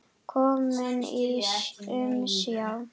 Kominn í umsjá